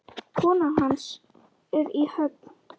Konan hans er í Höfn.